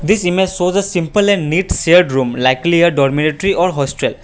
this image show the simple and neat shared room likely dormitory or hospital.